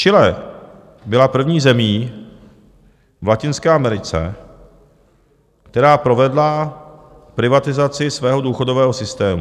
Chile byla první zemí v Latinské Americe, která provedla privatizaci svého důchodového systému.